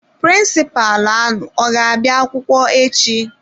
Prịnsịpalụ alu ọ ga-abịa akwụkwọ echi?